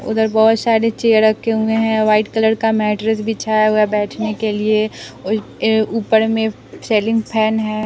उधर बहुत सारे चेयर रखे हुए हैं वाइट कलर का मैट्रेस बिछाया हुआ है बैठने के लिए और ऊपर में सेलिंग फैन है।